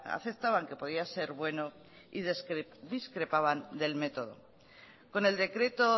aceptaban que podía ser bueno y discrepaban del método con el decreto